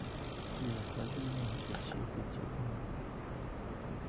закажи мне апельсин пятьсот граммов